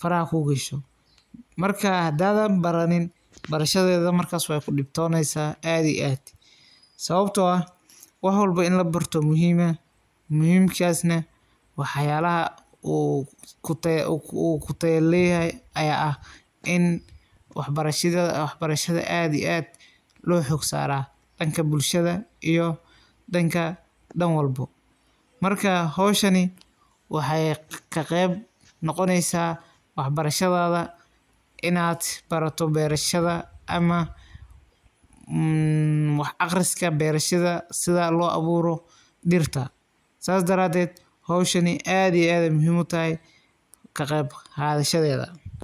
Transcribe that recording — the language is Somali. faraxa kugasho, marka xadhan baranin barashadeda markas wad kudibtoneysa aad iyo aad, sawabto ah, wax walba in labarto muxiim ah, muxiimkas nah wax yalaxa u kutaya leyaxay ay ah i wax barashada aad iyo aad loxoog saraa, danka bulshada iyo danka danwalbo, marka xowshaani, waxay kaqeb nogoneysa wax barashadada, inad barato berashada ama amm wax aqriska berashada, sidha loaburo diirta, sas dareded xowshaani aad iyo aad ay muxiim utaxay kaqebqadhashadeda.